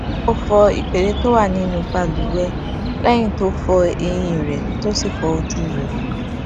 ó fọ ìpele tó wà nínú balùwẹ léyìn tó fọ eyín rè tó sì fọ ojú rè